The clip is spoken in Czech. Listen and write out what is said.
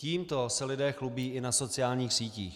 Tímto se lidé chlubí i na sociálních sítích.